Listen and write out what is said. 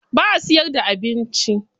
Ba a siyar da abinci.